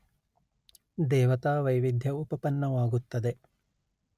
ದೇವತಾ ವೈವಿಧ್ಯ ಉಪಪನ್ನವಾಗುತ್ತದೆ